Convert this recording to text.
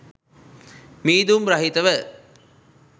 මීදුම් රහිතව